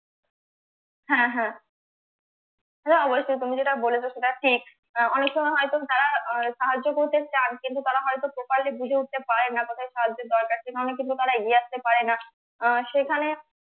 অবশ্যই তুমি যেটা বলেছো সেটা ঠিক আহ অনেক সময় হয়তো তারা আহ সাহায্য করতে চান কিন্তু তারা হয়তো properly বুঝে উঠতে পারেন না কোথায় সাহায্যের দরকার সেভাবে কিন্তু তারা এগিয়ে আসতে পারে না আহ সেখানে